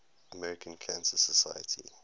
american cancer society